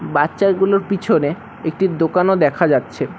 বাচ্চা গুলোর পিছনে একটি দোকানও দেখা যাচ্ছে।